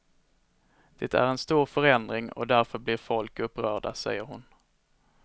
Det är en stor förändring, och därför blir folk upprörda, säger hon.